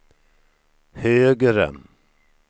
högre